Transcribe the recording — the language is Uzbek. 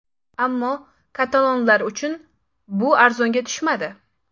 Ammo katalonlar uchun bu arzonga tushmadi.